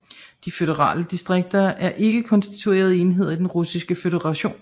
De føderale distrikter er ikke konstituerende enheder i den russiske føderation